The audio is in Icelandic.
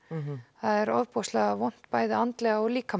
það er ofboðslega vont bæði andlega og líkamlega